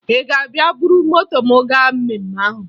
Ị ga-abịa buru moto m gaa mmemme ahụ?